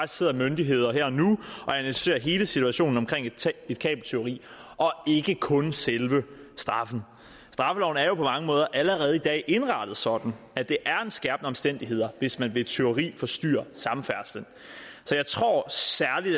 sidder myndigheder her og nu og analyserer hele situationen omkring et kabeltyveri og ikke kun selve straffen straffeloven er jo på mange måder allerede i dag indrettet sådan at det er en skærpende omstændighed hvis man ved et tyveri forstyrrer samfærdselen så jeg tror